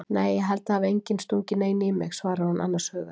Nei ég held að það hafi enginn stungið neinu í mig, svarar hún annars hugar.